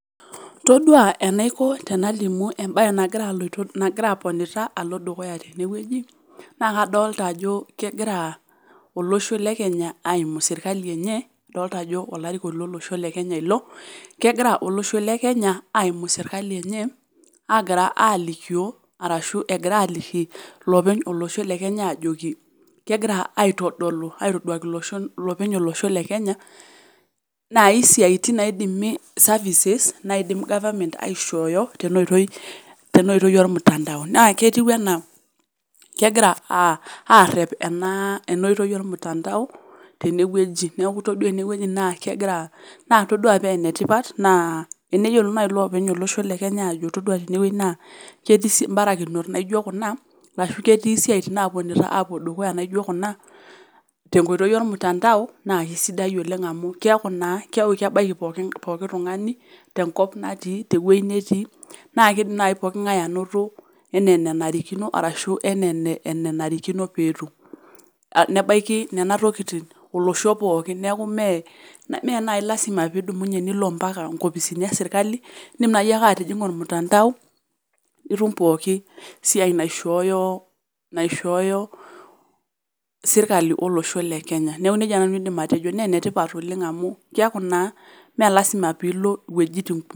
Todua enaiko tenalimu embae nagira aponita tene wueji alo dukuya tene wueji naa kadolita ajo kegira olosho le kenya aimu serkali enye idolita ajo olarikoni lo losho le kenya ilo kegira olosho le Kenya aimu serkali enye egira alikioo arashu aliki lopeny lolosho le kenya naaji siiatin naaidimi services naidim government aishoyo tena oitoi oo mtandao ketiu enaa kegira arep ena oitoi oo mtandao tene wueji niakua todua tenewueji toudua paa enetipat naa eneyiolou naaji loopeny olosho le kenya ajo todua tene wueji naa ketii sii mbarakinot naijo kuna arashu ketii siaitin naponita apuo dukuya naijo kuna tengoitoi oo mtandao naa keisidai oleng amu keaki naa kebaiki pookin tungani te nkop natii naa keidim naaji pooki ngae anoto enaa enanarikino arashu enaa enanarikino pee etum nebaiki nena tokitin olosho pookin niaku mme naaji lasima pee idumunye nilo mpaka nkopisini ee sirkali indim naaji ake atijinga ormutandao nitum pooki siai naishooyo sirkali olosho le kenya niaku nejia naaji nanu adim atejo naa enetipat oleng kiaku naa mme lasima pii ilo wuejitin kumok